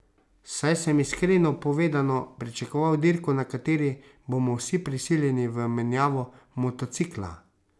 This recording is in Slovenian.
Saj sem, iskreno povedano, pričakoval dirko, na kateri bomo vsi prisiljeni v menjavo motocikla.